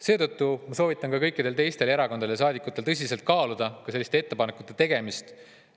Seetõttu ma soovitan ka kõikidel teistel erakondadel ja saadikutel tõsiselt kaaluda selliste ettepanekute tegemist.